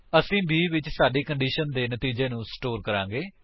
ਅਸੀ b ਵਿੱਚ ਸਾਡੀ ਕੰਡੀਸ਼ਨ ਦੇ ਨਤੀਜੇ ਨੂੰ ਸਟੋਰ ਕਰਾਂਗੇ